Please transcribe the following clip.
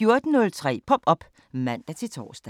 14:03: Pop op (man-tor)